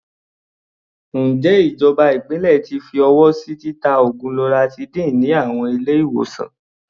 Ǹjẹ́ ìjọba ìpínlẹ̀ ti fi ọwọ́ sí títa oògùn loratiday ní àwọn ilé-ìwòsàn?